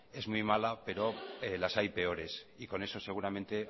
es muy mala pero las hay peores y con eso seguramente